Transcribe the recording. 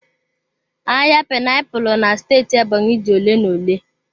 Ahịa painiapulu na steeti Ebonyi dị ole na ole.